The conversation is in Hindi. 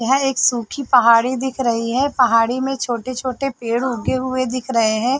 यह एक सुखी पहाड़ी दिख रही है पहाड़ी में छोटे -छोटे पेड़ उगे हुए दिख रहे है।